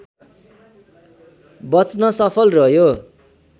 बच्न सफल रह्यो